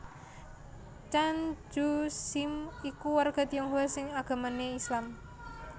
Tjan Tjoe Siem iku warga Tionghoa sing agamané Islam